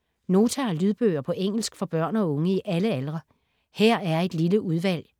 Nota har lydbøger på engelsk for børn og unge i alle aldre. Her er et lille udvalg.